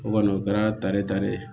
O kɔni o kɛra tare ta de ye